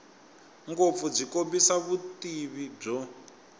ngopfu byi kombisa vutivi byo